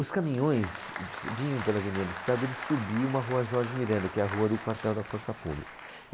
Os caminhões se vinham pela Avenida do Estado, eles subiam a rua Jorge Miranda, que é a rua do quartel da Força Pública.